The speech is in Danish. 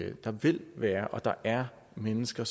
at der vil være og er mennesker